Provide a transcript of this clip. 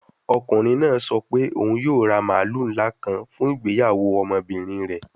Ọkunrin naa sọ pe oun yoo ra maalu nla kan fun igbeyawo ọmọbirin rẹ